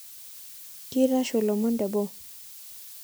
Keitashoo lomon teboo